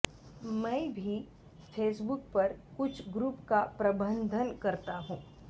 मैं भी फेसबुक पर कुछ ग्रुप का प्रबन्धन करता हूँ